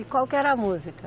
E qual que era a música?